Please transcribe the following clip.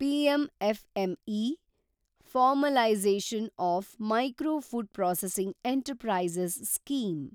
PM FME – formalisation of micro food processing enterprises scheme